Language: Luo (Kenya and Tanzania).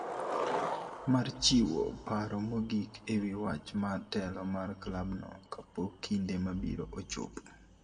mar chiwo paro mogik e wi wach mar telo mar klab no kapok kinde mabiro ochopo